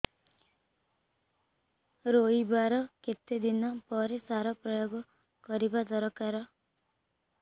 ରୋଈବା ର କେତେ ଦିନ ପରେ ସାର ପ୍ରୋୟାଗ କରିବା ଦରକାର